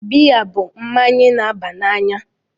Biya bụ mmanya na-aba n'anya.